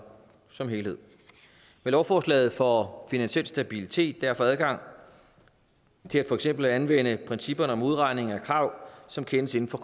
som helhed med lovforslaget får finansiel stabilitet derfor adgang til for eksempel at anvende principper om modregning af krav som kendes inden for